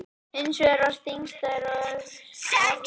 Hins vegar var þingstaður Öxarfjarðarhrepps á Ærlæk.